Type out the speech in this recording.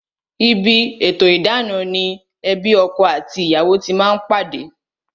Idana ni ti ebi mejeji, ebi ọkọ àti ìyàwó bá pàdé